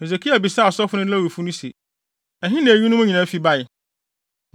Hesekia bisaa asɔfo no ne Lewifo no se, “Ɛhe na eyinom nyinaa fi bae?”